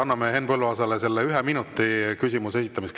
Anname Henn Põlluaasale selle ühe minuti küsimuse esitamiseks.